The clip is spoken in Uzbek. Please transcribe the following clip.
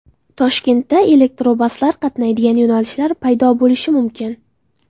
Toshkentda elektrobuslar qatnaydigan yo‘nalishlar paydo bo‘lishi mumkin.